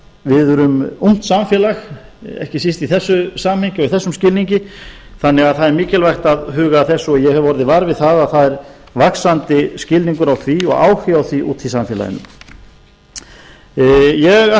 við erum ungt samfélag ekki síst í þessu samhengi og í þessum skilningi þannig að það er mikilvægt að huga að þessu og ég hef orðið var við að það er vaxandi skilningur á því og áhugi á því úti í samfélaginu ég